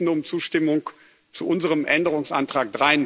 Wir bitten um Zustimmung zu unserem Änderungsantrag